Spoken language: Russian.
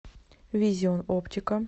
визион оптика